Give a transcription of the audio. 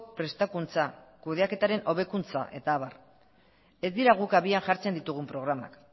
prestakuntza kudeaketaren hobekuntza eta abar ez dira guk abian jartzen ditugun programak